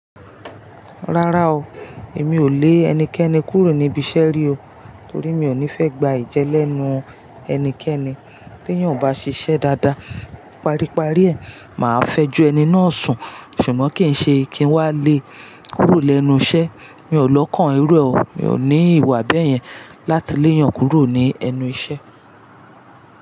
Rárá o, èmi ò lé ẹnikẹ́ni kúrò níbi iṣẹ́ rí o, torí mi ò ní fẹ́ gba ẹ̀jẹ́ lẹ́nu ẹnikẹ́ni tí eyan ò bá ṣiṣẹ́ dáadáa. Paríparí ẹ, mà á fẹjú ẹni náà sùn ṣùgbọ́n kí n ṣe kí n wá lé e kúrò lẹ́nu iṣẹ́. Mi ò lọ́kàn ẹrú ẹ o. Mi ò ní ìwà bẹ́ẹ̀ yẹn láti leè yan kúrò ní ẹnu iṣẹ́